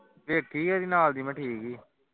ਵੇਖੀ ਹੈ ਇਹਦੇ ਨਾਲ ਦੀ ਮੈਂ ਠੀਕ ਹੀ